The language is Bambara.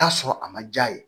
Taa sɔrɔ a ma ja ye